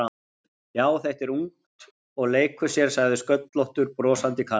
Já, þetta er ungt og leikur sér sagði sköllóttur brosandi karl.